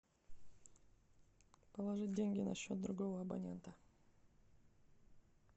положить деньги на счет другого абонента